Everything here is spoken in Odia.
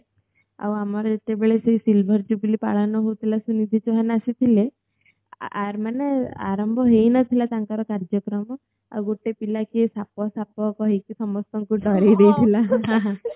ଆଉ ଆମର ଯେତେବେଳେ ସେ silver jubilee ପାଳନ ହୋଉଥିଲା ସୁନିଧି ଚୌହାନ୍ ଆସିଥିଲେ ଆର୍ ମାନେ ଆରାମ୍ଭ ହେଇ ନଥିଲା ତାଙ୍କର କାର୍ଯ୍ୟକ୍ରମ ଆଉ ଗଟେ ପିଲା କିଏ ସାପ ସାପ କହିକି ସମସ୍ତଙ୍କୁ ଡ଼ୋରେଇ ଦେଇଥିଲା